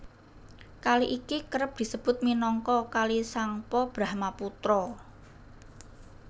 Kali iki kerep disebut minangka Kali Tsangpo Brahmaputra